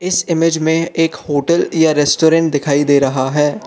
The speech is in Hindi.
इस इमेज में एक होटल या रेस्टोरेंट दिखाई दे रहा है।